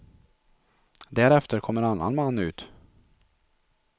Därefter kom en annan man ut.